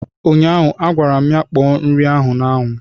ụnyaahụ, a gwara m ya kpọọ nri a n' ánwụ!